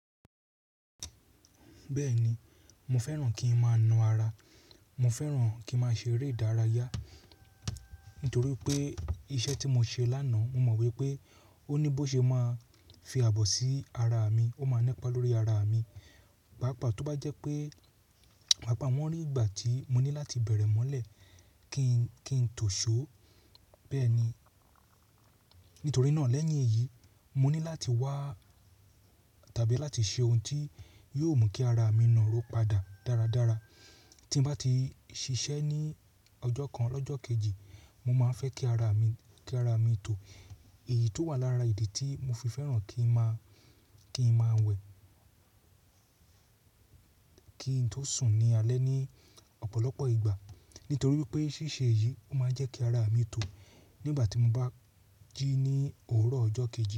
Bẹ́ẹ̀ni, mo fẹ́ràn kí n máa na ara. Mo fẹ́ràn kí n máa ṣe eré ìdárayá nítorí pé iṣẹ́ tí mo ṣe lánàá, mo mọ̀ wipé ó ní bó ṣe máa fi ààbò sí ara mi, ó máa nẹipà lórí ara mi. Pàápàá tó bá jẹ́ pé, pàápàá wọn ní ìgbà tí mo ní láti bẹ̀rẹ̀ mọ́lẹ̀ kí n tó ṣó, bẹ́ẹ̀ ni. Nítorí náà lẹ́yìn èyí, mo ní láti wá tàbí láti ṣe ohun tí yóò mú kí ara mi na ró padà dáradára. Tí n bá ti ṣiṣẹ́ ní ọjọ́ kan lọ́jọ kejì, mo máa fẹ́ ki ara mi kí ara mi tò. Èyí tó wà lára ìdí tí mo fi fẹ́ràn kí n máa ki n maa wẹ̀, kí n tó sùn ní alẹ́ ní ọ̀pọ̀lọpọ̀ ìgbà. Nítorí wipé ṣíṣe èyí o máa ń jẹ́ kí ara mi tò nígbà tí mo bá jí ní òwúrọ̀ ọjọ́ kejì.